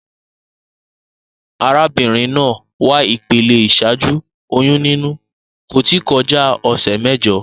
Arábínrin naa wà ìpele ìsájú oyún níní, kò tí kolá òsè méjo